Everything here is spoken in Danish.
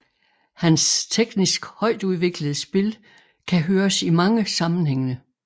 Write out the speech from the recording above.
Hans teknisk højtudviklede spil kan høres i mange sammenhænge